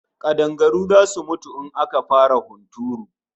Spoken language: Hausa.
Kadangaru zasu mutu in aka fara hunturu